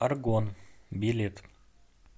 аргон билет